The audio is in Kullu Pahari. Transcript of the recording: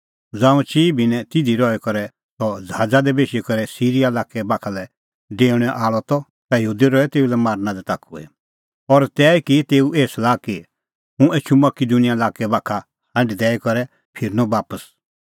ज़ांऊं चिई भिन्नैं तिधी रही करै सह ज़हाज़ा दी बेशी करै सिरीया लाक्कै बाखा लै डेऊणैं आल़अ त ता यहूदी रहै तेऊ लै मारना लै ताखुई और तैही की तेऊ एही सलाह कि हुंह एछूं मकिदुनिया लाक्कै बाखा हांढ दैई करै फिरनअ बापस